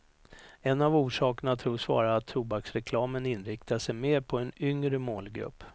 En av orsakerna tros vara att tobaksreklamen inriktar sig mer på en yngre målgrupp.